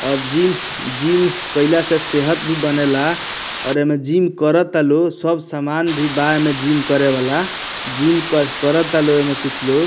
और gym gym कइला से सेहत भी बनेला और एमे जिम कराता लोग सब सामान भी बा एमे जिम करे वाला जिम करतालो एमे कुछ लोग।